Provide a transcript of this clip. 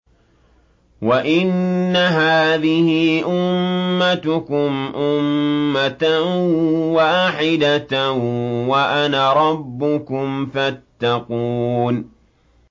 وَإِنَّ هَٰذِهِ أُمَّتُكُمْ أُمَّةً وَاحِدَةً وَأَنَا رَبُّكُمْ فَاتَّقُونِ